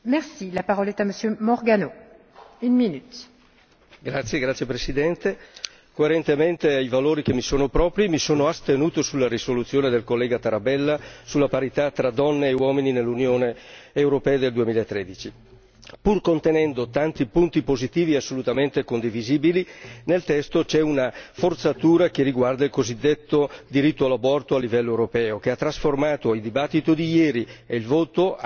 Signora Presidente, onorevoli colleghi, coerentemente ai valori che mi sono propri, mi sono astenuto sulla risoluzione del collega Tarabella sulla parità tra donne e uomini nell'Unione europea nel 2013. Pur contenendo tanti punti positivi assolutamente condivisibili, nel testo c'è una forzatura che riguarda il cosiddetto diritto all'aborto a livello europeo, che ha trasformato la discussione di ieri nonché il voto